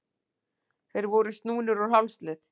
Þeir voru snúnir úr hálslið.